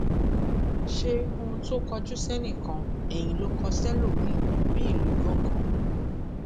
ṣe ohun tó kọjú sẹnìkan eyín ló kó sẹlòmíín bíi ìlú gangan